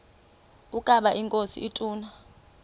ukaba inkosi ituna